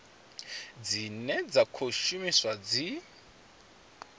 dzine dza khou shumiswa dzi